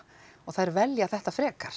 og þær velja þetta frekar